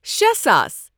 شے ساس